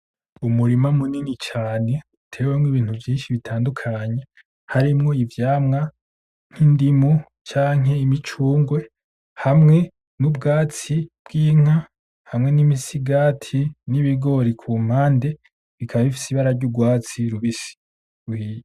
Umurima munini cane uteyemwo ibintu vyinshi cane bitandukanye, harimwo ivyamwa nk'indimu canke imicungwe, hamwe n'ubwatsi bw'inka , hamwe n'imisigati n'ibigori kumpande , bikaba bifise ibara ry'urwatsi rubisi ruhiye.